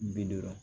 Bi duuru